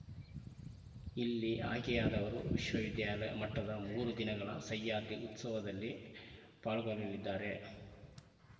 ಇಲ್ಲಿ ಆಯ್ಕೆಯಾದವರು ವಿಶ್ವವಿದ್ಯಾಲಯ ಮಟ್ಟದ ಮೂರು ದಿನಗಳ ಸಹ್ಯಾದ್ರಿ ಉತ್ಸವದಲ್ಲಿ ಪಾಲ್ಗೊಳ್ಳಲಿದ್ದಾರೆ